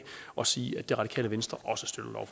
og sige at det radikale venstre